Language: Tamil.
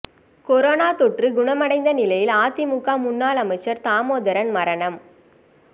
கொரோனா தொற்று குணமடைந்த நிலையில் அதிமுக முன்னாள் அமைச்சர் தாமோதரன் மரணம்